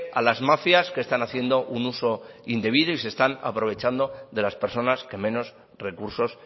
a las mafias que están haciendo un uso indebido y se están aprovechando de las personas que menos recursos